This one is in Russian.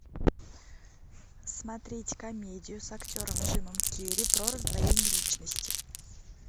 смотреть комедию с актером джимом керри про раздвоение личности